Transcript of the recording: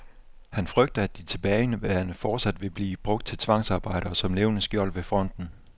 Han frygter, at de tilbageværende fortsat vil blive brugt til tvangsarbejde og som levende skjold ved fronten.